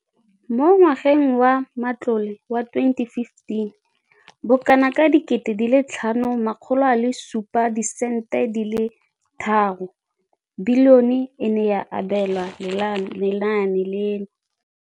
Mo ngwageng wa matlole wa 2015,16, bokanaka R5 703 bilione e ne ya abelwa lenaane leno.